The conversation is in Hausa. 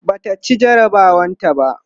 Bata ci jarabawar ta ba